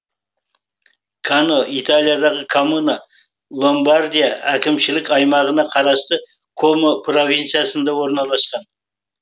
каньо италиядағы коммуна ломбардия әкімшілік аймағына қарасты комо провинциясында орналасқан